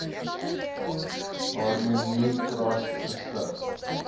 harmony trust gestig